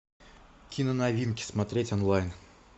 киноновинки смотреть онлайн